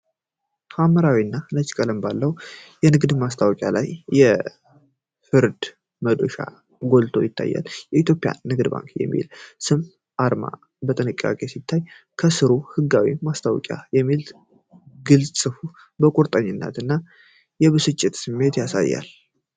ሐምራዊ እና ነጭ ቀለም ባለው የንግድ ማስታወቂያ ላይ የፍርድ መዶሻ ጎልቶ ይስተዋላል። "የኢትዮጵያ ንግድ ባንክ" የሚለው ስም እና አርማው በጥንቃቄ ሲታይ፤ ከስሩ "ህጋዊ ማስታወቂያ" የሚል ግልጽ ጽሑፍ የቁርጠኝነት እና የብስለት ስሜትን ያሳያል።